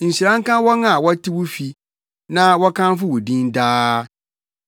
Nhyira nka wɔn a wɔte wo fi; na wɔkamfo wo din daa.